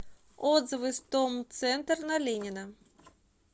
отзывы стомцентр на ленина